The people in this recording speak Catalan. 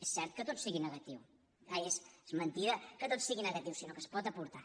és cert que tot sigui negatiu ai és mentida que tot sigui negatiu sinó que s’hi pot aportar